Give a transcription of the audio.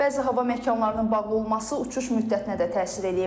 Bəzi hava məkanlarının bağlı olması uçuş müddətinə də təsir edib.